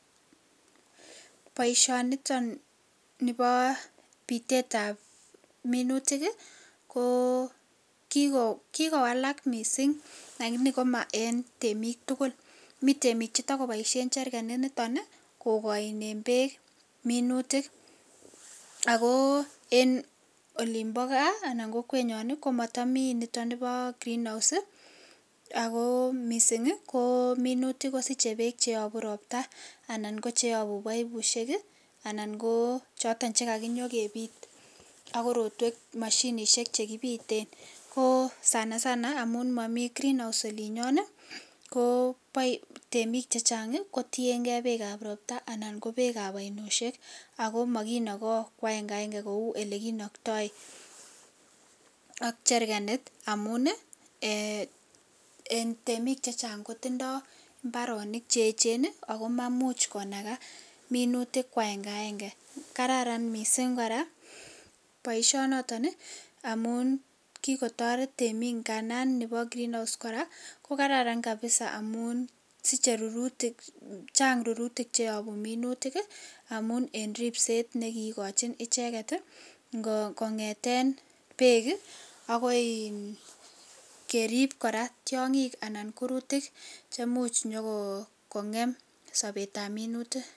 Boisioniton nebo pitetab minutik ii, ko kikowalak mising lakini koma en temik tugul, mi temik che takoboisien cherkanit nitoni kokoinen peek minutik, ako en olin bo gaa anan ko kokwenyo ii, ko matami nitoni bo greenhouse ii, ako mising ii, ko minutik kosiche peek che yobu ropta, anan ko cheyobu paipusiek ii, anan ko choton che kanyokepit ak korotwek mashinisiek che kipiten, ko sanasana amu momi greenghouse olinyon ii, ko temik chechang ii kotiengei peekab ropta anan ko peekab ainoisiek, ako makinoko kwa akenga kenge kou olekinoktoi ak cherkanit amun ii, um temik che chang kotindoi mbaronik che echen ii, ako mamuch konaka minutik kwa akenga akenge, kararan mising kora boisionoton ii amun kikotoret temik nganan nebo greenhouse kora ko kararan kabisa amun siche rurutik, chang rurutik cheyobu minutik ii, amun en ripset nekikochin icheket ii, kongeten peek ii ako in kerip kora tiongik anan kurutik chemuch nyo kongem sobetab minutik.